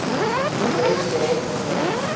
juis daarop gemik